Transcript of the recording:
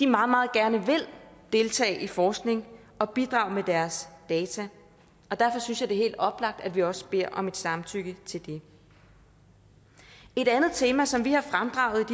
meget meget gerne vil deltage i forskning og bidrage med deres data derfor synes jeg det er helt oplagt at vi også beder om et samtykke til det et andet tema som vi har fremdraget